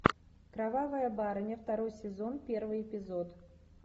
кровавая барыня второй сезон первый эпизод